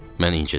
Mən incidi.